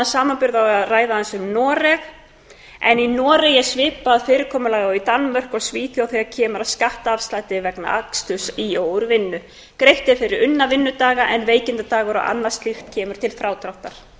við að ræða aðeins um noreg í noregi er svipað fyrirkomulag og í danmörku og svíþjóð þegar kemur að skattafslætti vegna aksturs í og úr vinnu greitt er fyrir unna vinnudaga en veikindadagar og annað slíkt kemur til frádráttar